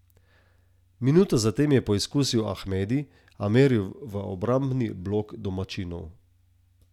Minuto za tem je poizkusil Ahmedi, a meril v obrambni blok domačinov.